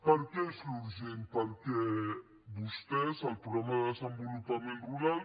per què és urgent perquè vostès el programa de desenvolupament rural